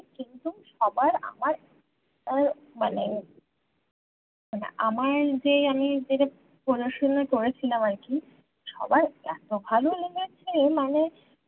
সবার আমার উহ মানে , মানে আমার যে আমি যে পড়াশোনা করেছিলাম আর কি সবার এতো ভালো লেগেছে মানে